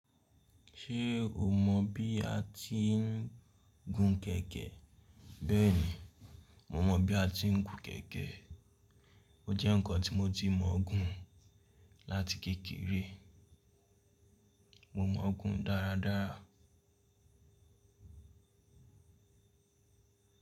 Ṣé o mọ̀ bí a ti ń gun kẹ̀kẹ́? Bẹ́ẹ̀ni, mo mọ̀ bí a ti ń gun kẹ̀kẹ́. O jẹ́ ǹkan tí mo ti mọ̀ ọ́n gùn láti kékeré. Mo mọ̀ ọ́n gùn dáradára.